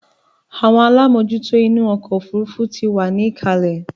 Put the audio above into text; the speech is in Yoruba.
Àwọn alámòjútó inú ọkọ̀ òfurufú ti wà ní ìkàlẹ̀